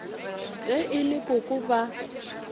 ge e le koko ba